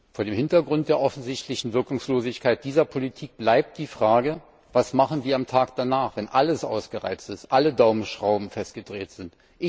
Vor dem Hintergrund der offensichtlichen Wirkungslosigkeit dieser Politik bleibt die Frage Was machen wir am Tag danach, wenn alles ausgereizt ist, alle Daumenschrauben festgedreht sind?